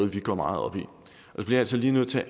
bliver sat